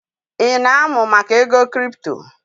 Ị na-amụ maka ego kripto?